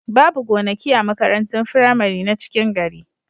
Babu gonaki a makarantun firamari na cikin gari.